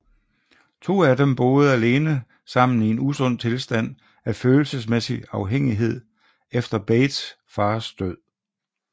De to af dem bor alene sammen i en usund tilstand af følelsesmæssig afhængighed efter Bates fars død